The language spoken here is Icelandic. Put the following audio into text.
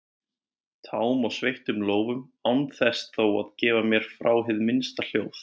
tám og sveittum lófum án þess þó að gefa frá mér hið minnsta hljóð.